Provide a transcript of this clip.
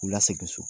K'u la segin so